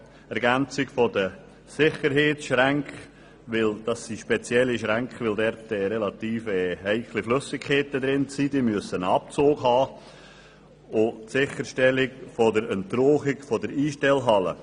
Ergänzung der Sicherheitsschränke – das sind spezielle Schränke, in denen heikle Flüssigkeiten gelagert werden, die Schränke müssen einen Abzug haben – und Entrauchung der Einstellhalle.